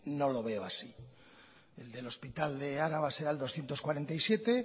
no lo veo así el del hospital de araba sea doscientos cuarenta y siete